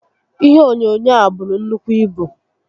Ihe onyoonyoo a buru nnukwu ibu